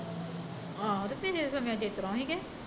ਆਹੋ ਤੇ ਪਿਛਲੇ ਸਮਿਆ ਚ ਇਸਤਰਾਂ ਈ ਸੀ ਕਿ